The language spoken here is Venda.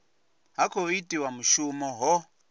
ha khou itiwa mushumo ho